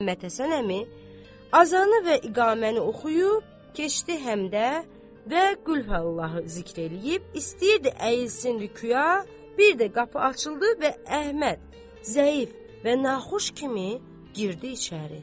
Məhəmməd Həsən əmi azanı və iqaməni oxuyub keçdi həmdə və Qülhəllahı zikr eləyib istəyirdi əyilsin rükuyə, bir də qapı açıldı və Əhməd zəif və naxoş kimi girdi içəri.